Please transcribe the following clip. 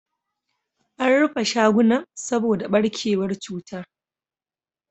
An rufe shagunan saboda barkewar cutar.